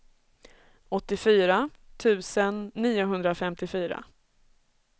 åttiofyra tusen niohundrafemtiofyra